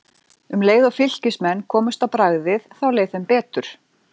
Um leið og Fylkismenn komust á bragðið þá leið þeim betur.